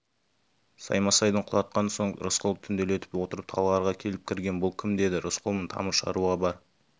саймасайды құлатқан соң рысқұл түнделетіп отырып талғарға келіп кірген бұл кім деді рысқұлмын тамыр шаруа бар